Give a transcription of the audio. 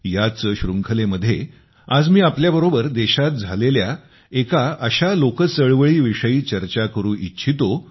याच शृंखलेमध्ये आज मी आपल्याबरोबर देशात झालेल्या एका आशा लोक चळवळीविषयी चर्चा करू इच्छितो